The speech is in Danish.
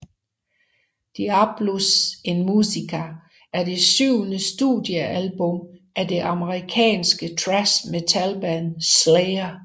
Diabolus in Musica er det syvende studiealbum af det amerikanske thrash metalband Slayer